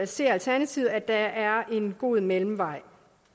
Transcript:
ser alternativet at der er en god mellemvej